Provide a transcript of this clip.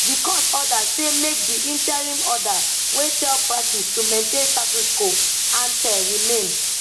di court order say make di interim order wey tell parties to maintain status quo ante remain